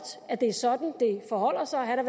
at det er sådan det forholder sig han